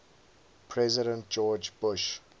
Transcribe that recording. president george bush